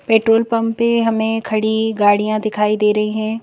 Petrol pump पे हमें खड़ी गाड़ियां दिखाई दे रही हैं।